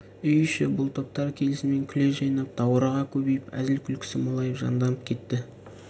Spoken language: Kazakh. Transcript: үй іші бұл топтар келісімен күле жайнап даурыға көбейіп әзілі күлкісі молайып жанданып кетті